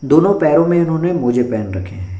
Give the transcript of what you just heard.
दोनों पैरों में इन्होने मोज़े पेहेन रखे हैं।